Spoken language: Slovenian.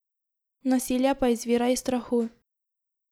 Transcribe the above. Nasilje pa izvira iz strahu.